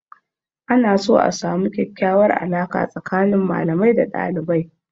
Ana so a samu kyakyawar alaƙa tsakanin malamai da dalibai.